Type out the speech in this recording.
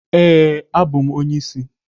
Ee, abụ m onye isi.